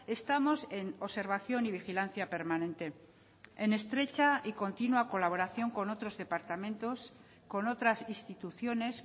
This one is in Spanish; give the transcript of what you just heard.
estamos en observación y vigilancia permanente en estrecha y continua colaboración con otros departamentos con otras instituciones